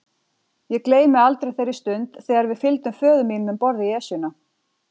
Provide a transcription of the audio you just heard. Ég gleymi aldrei þeirri stund þegar við fylgdum föður mínum um borð í Esjuna.